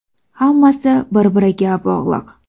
Hammasi bir-biriga bog‘liq.